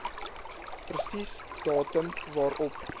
presies datum waarop